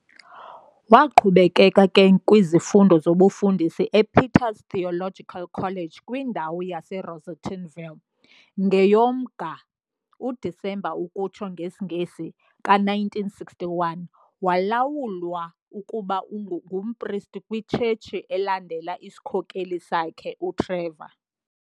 Waqhubeka ke kwizifundo zobufundisi ePeter's Theological College kwindawu yase Rosettenville, ngeyuoMnga, December, ka 1961 walawulwa ukuba ngumPriest kwiTshetshi elandela isikhokheli sakhe, uTrevor